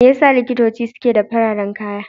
Me ya sa likitoci suke sa fararen kaya?